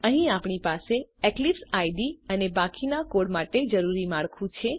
અહીં આપણી પાસે એક્લિપ્સ આઇડીઇ અને બાકીના કોડ માટે જરૂરી માળખું છે